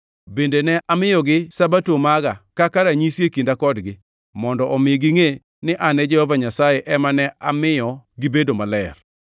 Bende ne amiyogi Sabato maga kaka ranyisi e kinda kodgi, mondo omi gingʼe ni an Jehova Nyasaye ema ne amiyo gibedo maler.